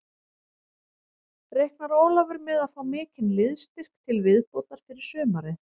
Reiknar Ólafur með að fá mikinn liðsstyrk til viðbótar fyrir sumarið?